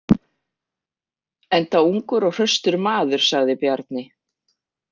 Enda ungur og hraustur maður, sagði Bjarni.